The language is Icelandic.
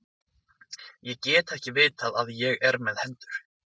Ég get ekki vitað að ég er með hendur.